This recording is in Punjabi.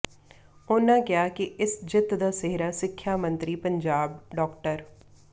ਉਨ੍ਹਾਂ ਕਿਹਾ ਕਿ ਇਸ ਜਿੱਤ ਦਾ ਸਿਹਰਾ ਸਿੱਖਿਆ ਮੰਤਰੀ ਪੰਜਾਬ ਡਾ